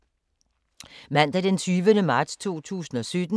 Mandag d. 20. marts 2017